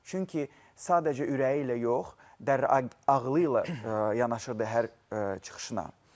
Çünki sadəcə ürəyi ilə yox, ağılı ilə yanaşırdı hər çıxışına.